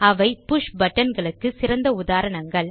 அவை push button களுக்கு சிறந்த உதாரணங்கள்